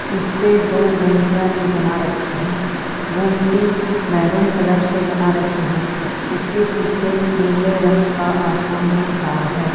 इस पे दो गुमटियां भी बना रखी है गुमटी मेहरून कलर से बना रखी है इसके पीछे नीले रंग का आसमान दिख रहा है।